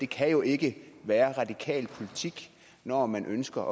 kan jo ikke være radikal politik når man ønsker